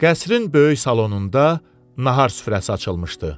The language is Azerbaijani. Qəsrin böyük salonunda nahar süfrəsi açılmışdı.